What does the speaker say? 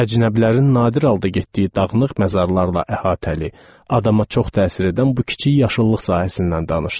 Əcnəbilərin nadir halda getdiyi dağınıq məzarlarla əhatəli, adama çox təsir edən bu kiçik yaşıllıq sahəsindən danışdım.